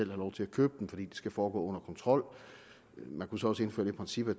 lov til at købe den fordi skal foregå under kontrol man kunne så også indføre det princip at